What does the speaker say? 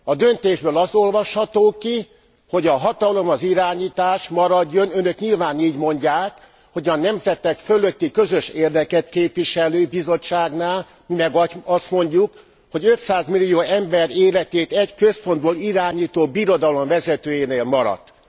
A döntésből az olvasható ki, hogy a hatalom, az irányítás maradjon önök nyilván így mondják a nemzetek fölötti közös érdeket képviselő Bizottságnál, mi meg azt mondjuk, hogy 500 millió ember életét egy központból irányító birodalom vezetőjénél maradt.